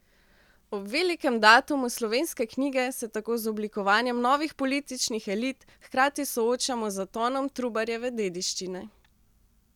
Ob velikem datumu slovenske knjige se tako z oblikovanjem novih političnih elit hkrati soočamo z zatonom Trubarjeve dediščine ...